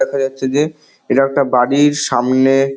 দেখা যাচ্ছে যে এটা একটা বাড়ির সামনে--